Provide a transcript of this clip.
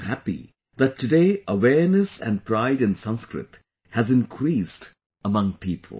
I am happy that today awareness and pride in Sanskrit has increased among people